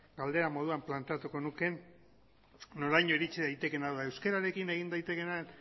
galdera moduan planteatuko nukeen noraino iritsi daitekeen hau da euskerarekin egin daitekeena ba